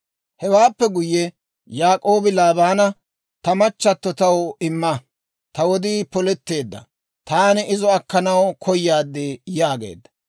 Hewaappe guyye Yaak'oobi Laabaana, «Ta machchato taw imma; ta wodii poletteedda; taani izo akkanaw koyaad» yaageedda.